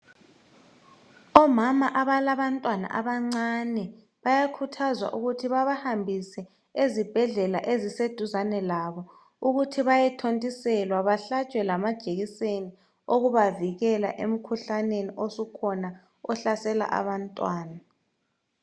Omama abalabantwana abancane bayakuthazwa ukuthi babahambise ezibhedlela ezise duzane labo ukuthi bayethontiselwa bahlatshwe ngamajekiseni okubavikela emkhuhlaneni osukhona ohlasela abantwana